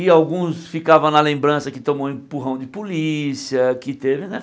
E alguns ficavam na lembrança que tomou um empurrão de polícia, que teve, né?